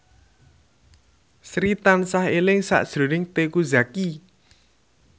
Sri tansah eling sakjroning Teuku Zacky